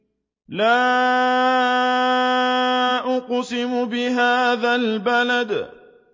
لَا أُقْسِمُ بِهَٰذَا الْبَلَدِ